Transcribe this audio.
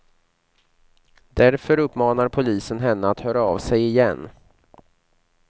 Därför uppmanar polisen henne att höra av sig igen.